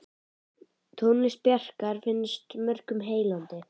Tónlist Bjarkar finnst mörgum heillandi.